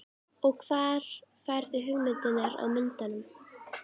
Og hvar færðu hugmyndirnar að myndunum?